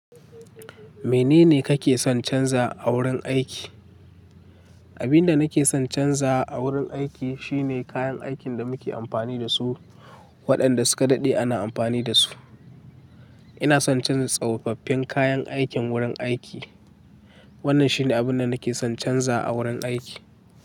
Menene kake son canza a wurin aiki? Abin da nake son canza a wurin aiki shine kayan aikin da muke amfani da su, waɗanda suka daɗe ana amfani da su. Ina son canza tsofaffin kayan aikin wurin aiki. Wannan shine abin da nake son canza a wurin aiki.